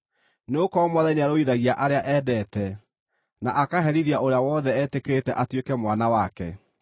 nĩgũkorwo Mwathani nĩarũithagia arĩa endete, na akaherithia ũrĩa wothe etĩkĩrĩte atuĩke mwana wake.”